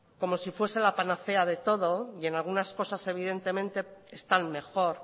como si fuese la panacea de todo y en algunas cosas evidentemente están mejor